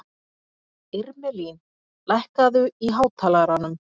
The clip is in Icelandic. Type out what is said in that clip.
Irmelín, lækkaðu í hátalaranum.